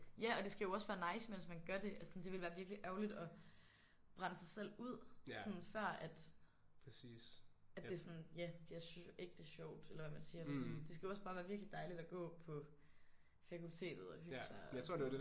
Ja og det skal jo også være nice mens man gør det altså sådan det ville være virkelig ærgerligt at brænde sig selv ud sådan før at det sådan det ja bliver ægte sjovt eller hvad man siger sådan det skal jo også bare være virkelig dejligt at gå på fakultetet og hygge sig og sådan